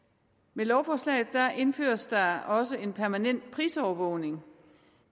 med lovforslaget indføres der også en permanent prisovervågning